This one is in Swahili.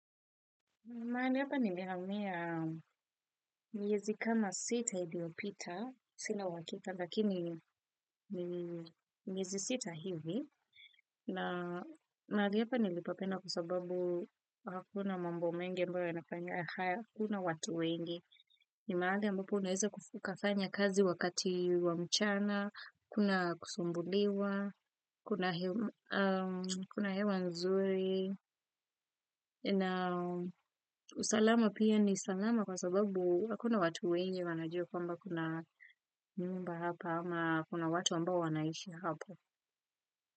Mahali hapa nilihamia miezi kama sita iliyopita, sina uhakika lakini miezi sita hivi. Na mahali hapa nilipapenda kwa sababu hakuna mambo mengi ambayo yanafanya, hakuna watu wengi. Ni mahali ambapo unaweza ukafanya kazi wakati wa mchana, hakuna kusumbuliwa, kuna hewa nzuri. Na usalama pia ni salama kwa sababu hakuna watu wengi wanajua kwamba kuna nyumba hapa ama kuna watu ambao wanaishi hapo.